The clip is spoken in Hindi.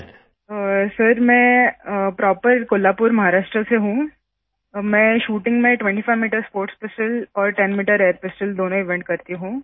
अभिदन्या सर मैं प्रॉपर कोल्हापुर महाराष्ट्र से हूँ मैं शूटिंग में 25m स्पोर्ट्स पिस्तोल और 10m एयर पिस्तोल दोनों इवेंट करती हूँ